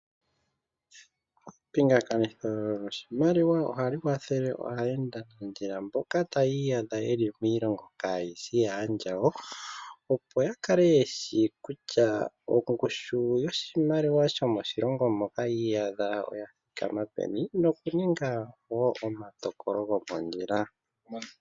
Epingakanitho lyoshimaliwa ohali kwathele aayendanandjila mboka taa iyadha ye li kiilongo kayi shi yaandjawo, opo ya kale ye shi kutya ongushu yoshimaliwa shomo shilongo moka yi iyadha oya thikama peni nokuninga omatokolo gomondjila.